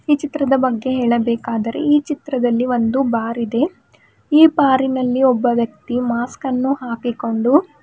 ಈ ಚಿತ್ರದ ಬಗ್ಗೆ ಹೇಳಬೇಕಾದರೆ ಈ ಚಿತ್ರದಲ್ಲಿ ಒಂದು ಬಾರಿದೆ ಈ ಬಾರಿನಲ್ಲಿ ಒಬ್ಬ ವ್ಯಕ್ತಿ ಮಾಸ್ಕನ್ನು ಹಾಕಿಕೊಂಡು--